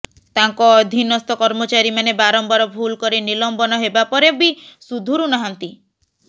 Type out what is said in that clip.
ତାଙ୍କ ଅଧିନସ୍ଥ କର୍ମଚାରୀମାନେ ବାରମ୍ବାର ଭୁଲ କରି ନିଲମ୍ବନ ହେବା ପରେ ବି ସୁଧୁରୁ ନାହାନ୍ତି